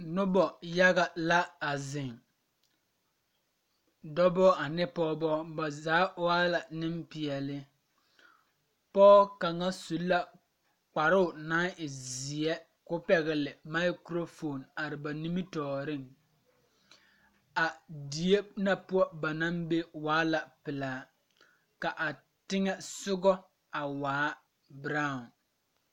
Noba yaga la ziŋ dɔba ane pɔgeba ba zaa waa la nimpeɛle pɔge kaŋa su la kparoo naŋ e zeɛ ko pɛgle maɛkorofoon are ba nimitɔɔriŋ a die na poɔ ba naŋ be waa la a pilaa ka a teŋɛsɔgɔ a waa biraao.